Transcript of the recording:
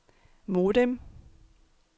modem